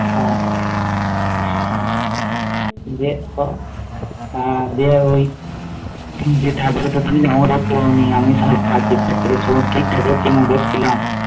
আহা আ বিয়ের ওই সব কাজ হচ্ছে ঠিক থাকে হচ্ছে কিনা দেখছিলাম